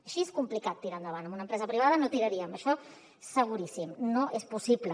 així és complicat tirar endavant en una empresa privada no hi tiraríem això seguríssim no és possible